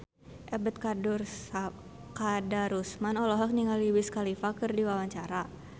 Ebet Kadarusman olohok ningali Wiz Khalifa keur diwawancara